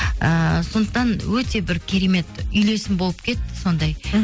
ыыы сондықтан өте бір керемет үйлесім болып кетті сондай мхм